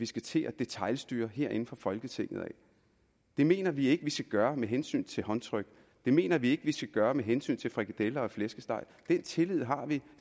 skal til at detailstyre herinde fra folketinget det mener vi ikke man skal gøre med hensyn til håndtryk det mener vi ikke man skal gøre med hensyn til frikadeller og flæskesteg den tillid har vi